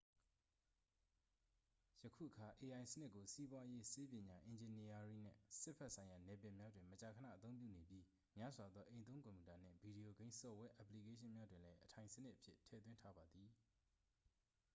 ယခုအခါ ai စနစ်ကို စီးပွားရေး ဆေးပညာ အင်ဂျင်နီယားရင်းနှင့် စစ်ဘက်ဆိုင်ရာနယ်ပယ်များတွင် မကြာခဏအသုံးပြုနေပြီး များစွာသော အိမ်သုံးကွန်ပြူတာနှင့် ဗီဒီယိုဂိမ်းဆော့ဖ်ဝဲအက်ပလီကေးရှင်းများတွင်လည်း အထိုင်စနစ်အဖြစ်ထည့်သွင်းထားပါသည်